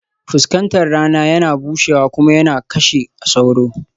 Fuskatar rana yana bushewa kuma yana kashe sauro